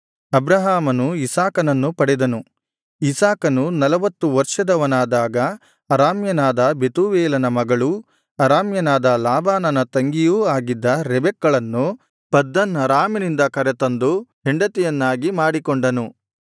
ಅಬ್ರಹಾಮನು ಇಸಾಕನನ್ನು ಪಡೆದನು ಇಸಾಕನು ನಲವತ್ತು ವರ್ಷದವನಾದಾಗ ಅರಾಮ್ಯನಾದ ಬೆತೂವೇಲನ ಮಗಳೂ ಅರಾಮ್ಯನಾದ ಲಾಬಾನನ ತಂಗಿಯೂ ಆಗಿದ್ದ ರೆಬೆಕ್ಕಳನ್ನು ಪದ್ದನ್ ಅರಾಮಿನಿಂದ ಕರೆದುತಂದು ಹೆಂಡತಿಯನ್ನಾಗಿ ಮಾಡಿಕೊಂಡನು